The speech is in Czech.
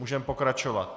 Můžeme pokračovat.